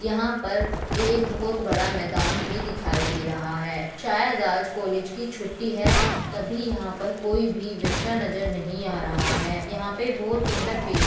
यहाँ पर एक बहुत बड़ा मैदान भी दिखाई दे रहा है शायद आज कॉलेज की छुट्टी है तभी यहाँ पर कोई भी बच्चा नज़र नही आ रहा है यहाँ पर बहुत सुंदर पेड़--